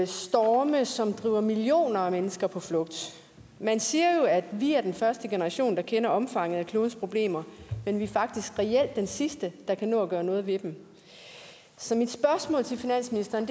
storme som driver millioner af mennesker på flugt man siger jo at vi er den første generation der kender omfanget af klodens problemer men vi er faktisk reelt den sidste der kan nå at gøre noget ved dem så mit spørgsmål til finansministeren